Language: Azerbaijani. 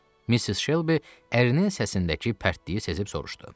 Missis Şelbi ərinin səsindəki pərtliyi sezib soruşdu.